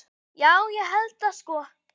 Já, ég held það sko.